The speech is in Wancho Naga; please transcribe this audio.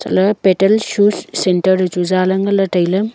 lah e petel shoes centre lechu zaley nganley tailey.